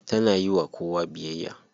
Tana yiwa kowa biyayya.